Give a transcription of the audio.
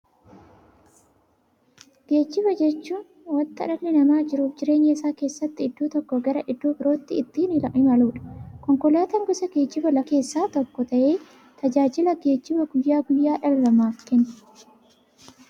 Geejjiba jechuun wanta dhalli namaa jiruuf jireenya isaa keessatti iddoo tokkoo gara iddoo birootti ittiin imaluudha. Konkolaatan gosa geejjibaa lafarraa keessaa tokko ta'ee, tajaajila geejjibaa guyyaa guyyaan dhala namaaf kenna.